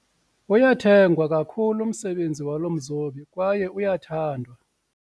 Uyathengwa kakhulu umsebenzi walo mzobi kwaye uyathengwa.